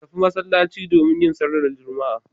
Ku tafi masallaci domin yin sallar Juma'a.